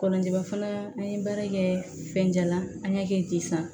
Kɔnɔja fana an ye baara kɛ fɛnjalan an k'a kɛ ten sisan